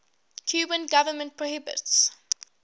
cuban government prohibits